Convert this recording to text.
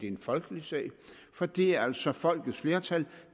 en folkelig sag for det er altså folkets flertal